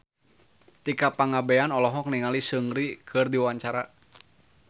Tika Pangabean olohok ningali Seungri keur diwawancara